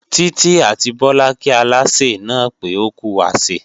Títí àti Bọlá kí Aláṣẹ náà pé ókú àsè